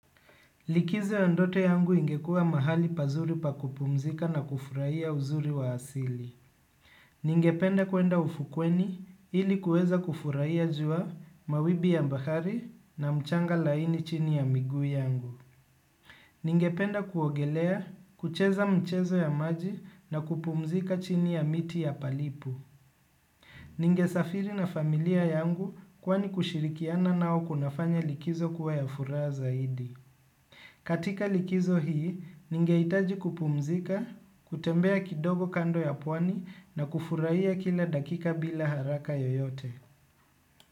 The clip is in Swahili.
Likizo ya ndoto yangu ingekua mahali pazuri pa kupumzika na kufurahia uzuri wa asili. Ningependa kuenda ufukweni ili kueza kufurahi ya jua mawimbi ya bahari na mchanga laini chini ya miguu yangu. Ningependa kuogelea, kucheza mchezo ya maji na kupumzika chini ya miti ya palipu. Ningesafiri na familia yangu kwani kushirikiana nao kunafanya likizo kuwa ya furaha zaidi. Katika likizo hii, ningeitaji kupumzika, kutembea kidogo kando ya puwani na kufuraia kila dakika bila haraka yoyote.